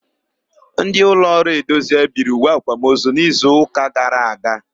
Ndị ụlọọrụ Edozie biri uwe àkwámozu n'izuụka gara aga.